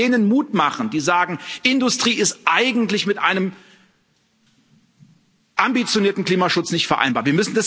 Das wird denen Mut machen, die sagen Industrie ist eigentlich mit einem ambitionierten Klimaschutz nicht vereinbar.